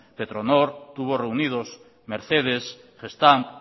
petronor tubos reunidos mercedes gestamp